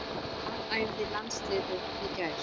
Hvar æfði landsliðið í gær?